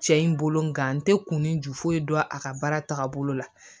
Cɛ in bolo n gan tɛ kunni ju foyi dɔn a ka baara tagabolo la